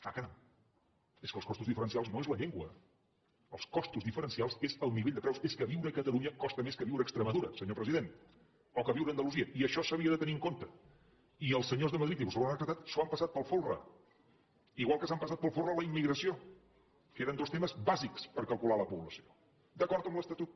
ah caram és que els costos diferencials no és la llengua els costos diferencials és el nivell de preus és que viure a catalunya costa més que viure a extremadura senyor president o que viure a andalusia i això s’havia de tenir en compte i els senyors de madrid i vostès ho han acatat s’ho han passat pel folre igual que s’han passat pel folre la immigració que eren dos temes bàsics per calcular la po blació d’acord amb l’estatut